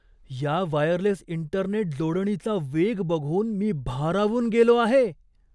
या wireless internet जोडणीचा वेग बघून मी भारावून गेलो आहे.